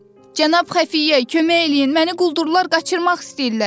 Cənab Xəfiyyə, kömək eləyin, məni quldurlar qaçırmaq istəyirlər.